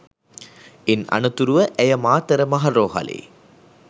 ඉන් අනතුරුව ඇය මාතර මහ රෝහලේ